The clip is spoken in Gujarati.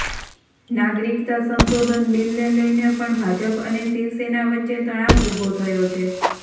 નાગરિકતા સંશોધન બિલને લઈને પણ ભાજપ અને શિવસેના વચ્ચે તણાવ ઉભો થયો છે